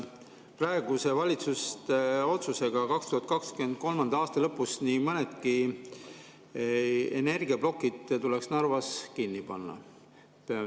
Praeguse valitsuse otsusega 2023. aasta lõpus tuleks nii mõnedki energiaplokid Narvas kinni panna.